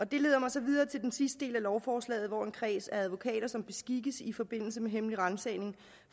det leder mig så videre til den sidste del af lovforslaget hvor en kreds af advokater som beskikkes i forbindelse med hemmelig ransagning